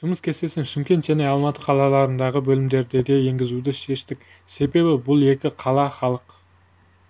жұмыс кестесін шымкент және алматы қалаларындағы бөлімдерде де енгізуді шештік себебі бұл екі қала халық